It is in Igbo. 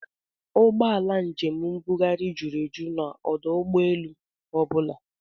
Ụgbọala njem mbugharị jụrụ eju n'ọdụ ụgbọelu ọ bụla